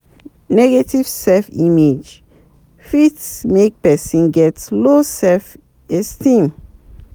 Negative self image fit make person get low self esteem